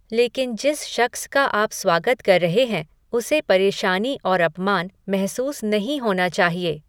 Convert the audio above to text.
लेकिन जिस शख्स का आप स्वागत कर रहे हैं उसे परेशानी और अपमान महसूस नहीं होना चाहिए।